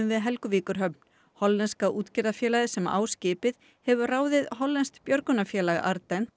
við Helguvíkurhöfn hollenska útgerðarfélagið sem á skipið hefur ráðið hollenskt björgunarfélag